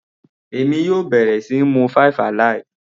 Èmi yóò bẹ̀rẹ̀ síí mu five alive.